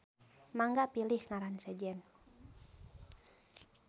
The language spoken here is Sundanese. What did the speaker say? Mangga pilih ngaran sejen.